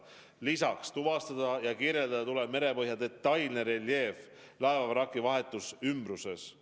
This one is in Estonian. Lisaks, tuvastada ja kirjeldada tuleb merepõhja detailne reljeef laevavraki vahetus ümbruses.